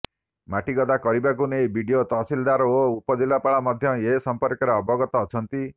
ମାଟିଗଦା କରିବାକୁ ନେଇ ବିଡିଓ ତହସିଲଦାର ଓ ଉପଜିଲ୍ଲାପାଳ ମଧ୍ୟ ଏ ସମ୍ପର୍କରେ ଅବଗତ ଅଛନ୍ତି